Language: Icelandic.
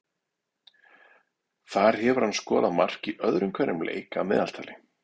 Þar hefur hann skorað mark í öðrum hverjum leik að meðaltali.